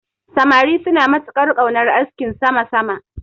Samari suna matuƙar ƙaunar askin sama sama.